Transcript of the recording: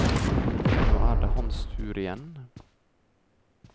Nå er det hans tur igjen.